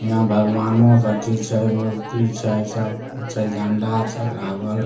यहाँ भगवानो के अथी छै मूर्ति छै सब कुछ छै झंडा छै लागल ।